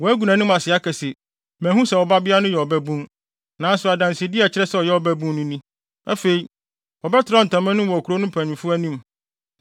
Wagu nʼanim ase aka se, ‘Manhu sɛ wo babea no yɛ ɔbabun.’ Nanso adansede a ɛkyerɛ sɛ ɔyɛ ɔbabun no ni.” Afei, wɔbɛtrɛw ntama no mu wɔ kurow no mpanyimfo anim,